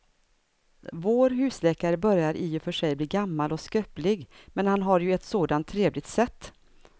Vår husläkare börjar i och för sig bli gammal och skröplig, men han har ju ett sådant trevligt sätt!